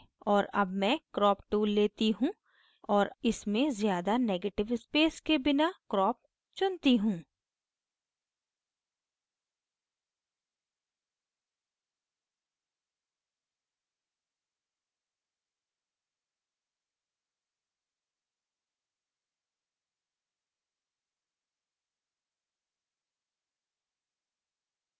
और अब मैं crop tool लेती choose और इसमें ज़्यादा negative space के बिना crop चुनती choose